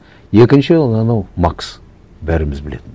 екінші ол анау макс бәріміз білетін